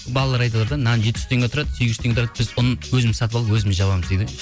балалар айтыватыр да нан жеті жүз теңге тұрады сегіз жүз теңге тұрады біз ұн өзіміз сатып алып өзіміз жабамыз дейді